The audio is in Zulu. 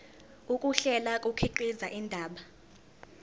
ukuhlela kukhiqiza indaba